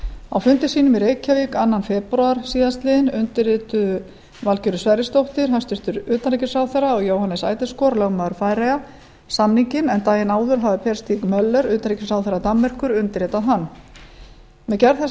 á fundi sínum í reykjavík annan febrúar síðastliðinn undirrituðu hæstvirts utanríkisráðherra valgerður sverrisdóttir og lögmaður færeyja jóhannes eideskor samninginn en daginn áður hafði möller utanríkisráðherra danmerkur undirritað hann með gerð þessa